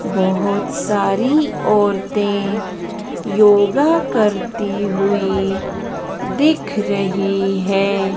बहोत सारी औरतें योगा करती हुई दिख रही हैं।